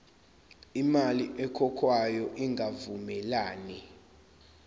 imali ekhokhwayo ingavumelani